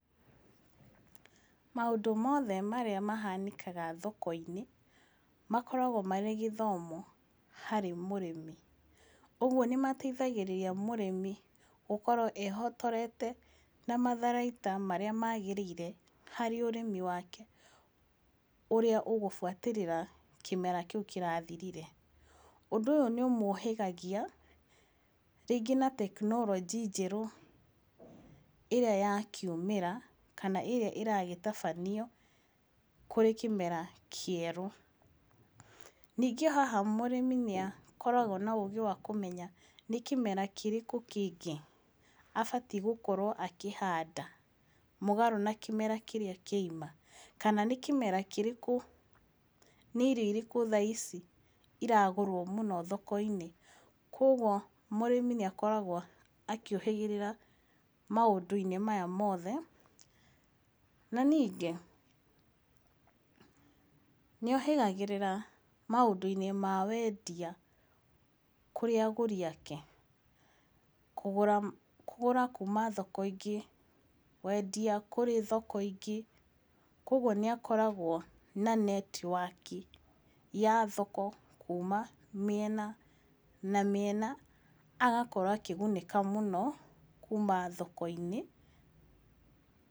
Maũndũ mothe marĩa mahanĩkaga thoko-inĩ makoragwo marĩ gĩthomo harĩ mũrĩmi. Ũguo nĩ mateithagĩrĩria mũrĩmi gũkorwo ehotorete na matharaita marĩa maagĩrĩire harĩ ũrĩmi wake ũrĩa ũgũbuatĩrĩra kĩmera kĩu kĩrathirire. Ũndũ ũyũ nĩ ũmũũhĩgagia rĩngĩ na tekinoronjĩ njerũ ĩrĩa yakiumĩra kana ĩrĩa ĩragĩtabanio kũrĩ kĩmera kĩerũ. Ningĩ o haha mũrĩmi nĩ akoragwo na ũũgĩ wa kũmenya nĩ kĩmera kĩrĩkũ kĩngĩ abatiĩ gũkorwo akĩhanda mũgarũ na kĩmera kĩrĩa kĩoima. Kana nĩ kĩmera kĩrĩkũ, nĩ irio irĩkũ thaa ici iragũrwo mũno thoko-inĩ. Koguo mũrĩmi nĩ akoragwo akĩũhĩgĩrĩra maũndũ-inĩ maya mothe. Na ningĩ nĩohĩgagĩrĩra maũndũ-inĩ ma wendia kũrĩ agũri ake. Kũgũra kuuma thoko ingĩ, kwendia kũrĩ thoko ingĩ, koguo nĩ akoragwo na netiwaki ya thoko kuuma mĩena na mĩena. Agakorwo akĩgunĩka mũno kuuma thoko-inĩ.